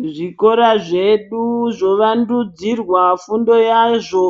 Muzvikora zvedu zvovandudzirwa fundo yazvo,